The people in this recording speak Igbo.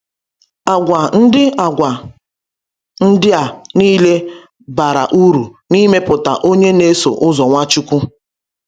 Àgwà ndị Àgwà ndị a niile bara uru n’imepụta onye na-eso ụzọ Nwachukwu.